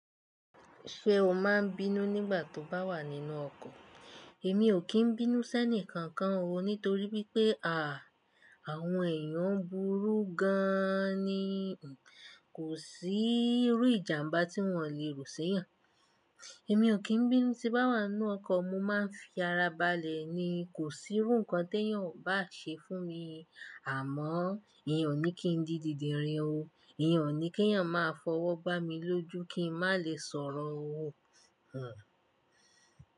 Ṣé o máa n bínú nígbà tó bá wà nínú ọkọ̀? Èmi ò kí n bínú sẹ́ni kankan o nítorí wípé à, àwọn èèyàn ń burú gan an ni, kò sí irú ìjàmbá tí wọ́n ò lè ro sẹ́yàn. Èmi ò kí n bínú tí bá wà nínú ọkọ̀, mo máa n fi ara balẹ̀ ni, kò sí irú nǹkan tí èyàn ò bá ṣe fún mi. Àmọ́, íyen ò ní kí n di didirin o, íyen ò ní kí èyàn máa fọwọ́ gbá mi lójú kí n má lè sọ̀rọ̀ o, hhn.